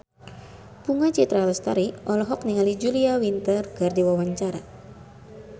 Bunga Citra Lestari olohok ningali Julia Winter keur diwawancara